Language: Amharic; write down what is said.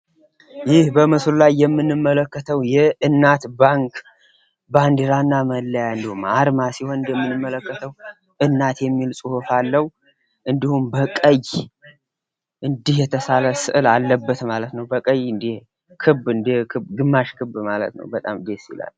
ይህ በምስሉ ላይ የምንመለከተው የእናት ባንክ ባንዲራና መለያ እንዲሁም አርማ ሲሆን እንደምንመለከተው እናት የሚል ፅሁፍ አለው። እንዲሁም በቀይ እንዲህ የተሳለ ስዕል አለው። በቀይ እንደ ግማሽ ክብ ነገር ።በጣም ደስ ይላል።